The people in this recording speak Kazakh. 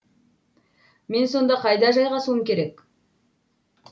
мен сонда қайда жайғасуым керек